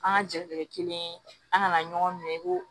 An ka jatigɛ kelen an kana ɲɔgɔn minɛ i ko